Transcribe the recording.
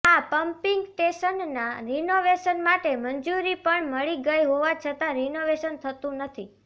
આ પમ્પીંગ સ્ટેશનના રિનોવેશન માટે મંજૂરી પણ મળી ગઈ હોવા છતાં રિનોવેશન થતું નથી